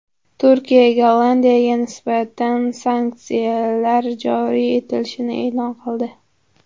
Turkiya Gollandiyaga nisbatan sanksiyalar joriy etishini e’lon qildi.